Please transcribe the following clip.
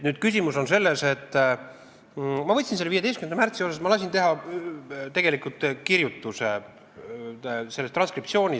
Ma lasin teha selle 15. märtsi arutlusest minu ja välisministri vahel üleskirjutuse, transkriptsiooni.